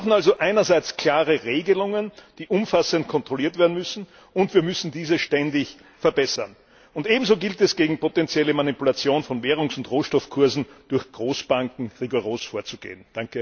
Wir brauchen also einerseits klare Regelungen, die umfassend kontrolliert werden müssen, und wir müssen diese ständig verbessern. Ebenso gilt es, gegen potenzielle Manipulation von Währungs und Rohstoffkursen durch Großbanken rigoros vorzugehen.